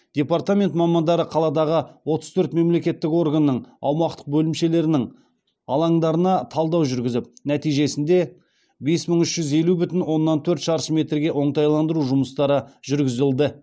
департамент мамандары қаладағы отыз төрт мемлекеттік органның аумақтық бөлімшелерінің алаңдарына талдау жүргізіп нәтижесінде бес мың үш жүз елу бүтін оннан төрт шаршы метрге оңтайландыру жұмыстары жүргізілді